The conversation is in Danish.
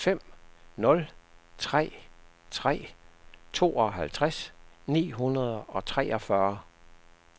fem nul tre tre tooghalvtreds ni hundrede og treogfyrre